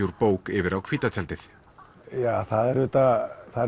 úr bók yfir á hvíta tjaldið það er auðvitað það